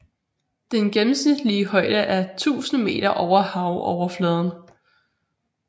Den gennemsnitlige højde er 1000 meter over havoverfladen